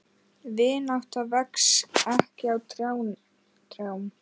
Vinátta vex ekki á trjám.